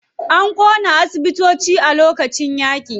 An ƙona asibitoci a lokacin yaƙi.